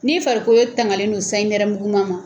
Ni farikolo ye tangalen don sayi nɛrɛmuguman ma.